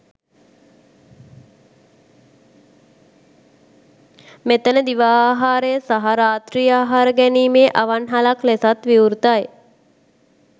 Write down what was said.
මෙතැන දිවා ආහාරය සහ රාත්‍රී ආහාර ගැනීමේ අවන්හලක් ලෙසත් විවෘතයි.